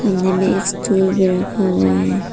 नीले स्टूल में रखा हुआ है।